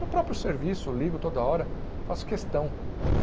No próprio serviço, ligo toda hora, faço questão.